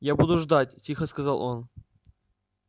я буду ждать тихо сказал он